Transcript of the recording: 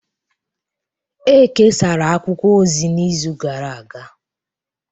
E kesara akwụkwọ ozi n'izu gara aga